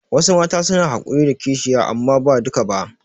Wasu Mata suna hakuri da kishiya amma ba duka ba